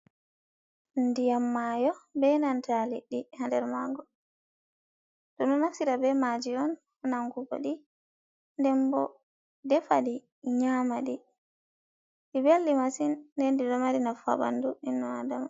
Ndiyam mayo be nanta liɗɗi ha nder maago. Ɗum ɗo naftira be maaji on ha nangugo ɗi nden bo defa ɗi nyama ɗi. Ɗi beldi masin nden ɗi ɗo mari nafu ha ɓandu inno Adama.